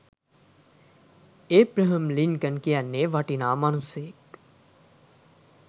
Abraham Lincoln කියන්නෙ වටිනා මනුස්සයක්.